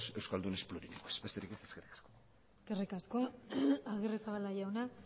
euskaldunes plurilingües besterik ez eskerrik asko eskerrik asko agirrezabala jauna